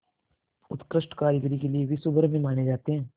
उत्कृष्ट कारीगरी के लिये विश्वभर में जाने जाते हैं